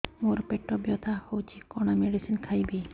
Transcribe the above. ମୋର ପେଟ ବ୍ୟଥା ହଉଚି କଣ ମେଡିସିନ ଖାଇବି